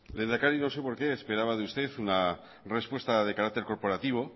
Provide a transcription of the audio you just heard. lehendakari no sé por qué esperaba de usted una respuesta de carácter corporativo